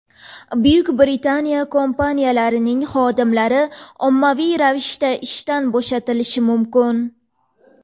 Buyuk Britaniya kompaniyalarining xodimlari ommaviy ravishda ishdan bo‘shatilishi mumkin.